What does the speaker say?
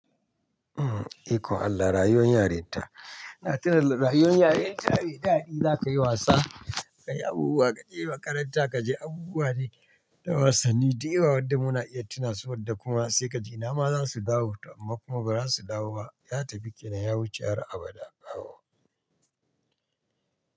Eh ikon Allah rayuwar yarinta, na tuna rayuwar yarinta mai daɗi zakayi wasa, kayi abubuwa kaje makaranta kaje abubuwa dai na wasanni da yawa wanda muna iya tuna su wadda kuma sai kaji inama zasu dawo to amma kuma bazasu dawowa ba, ya tafi kenan ya wuce har abada bawo.